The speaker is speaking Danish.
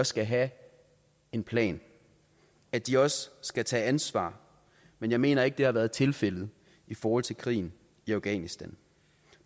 skal have en plan at de også skal tage ansvar men jeg mener ikke det har været tilfældet i forhold til krigen i afghanistan